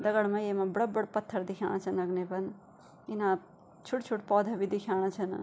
दगड मा येमा बड़ा बड़ा पत्थर दिख्येणा छन अगने पर इना छुट छुट पौधा भी दिख्येणा छन।